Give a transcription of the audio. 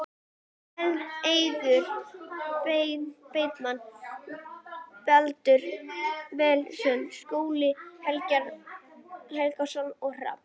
Eiður Bergmann, Baldur Vilhelmsson, Skúli Helgason og Hrafn